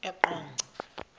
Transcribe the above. eqonco